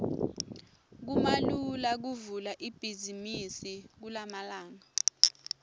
kumalula kuvula ibhizimisi kulamalanga